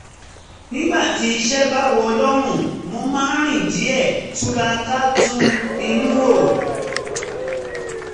nígbà tí iṣẹ́ bá wọ̀ lọ́rùn mo máa rìn díẹ̀ túra ká tún inú rò